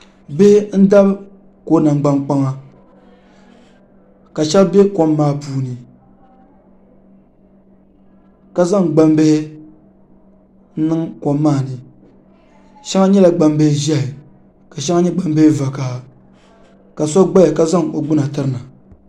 Bihi n dabi kom namgbani kpaŋa ka ahɛba bɛ kom maa puuni ka zaŋ gbaŋ bihi n niŋ kom maa ni shɛŋa nyɛla gbaŋ bihi zɛhi ka shɛŋa nyɛ gbaŋ bihi vakaha ka so gbaya ka zaŋ o gbuna tiri na.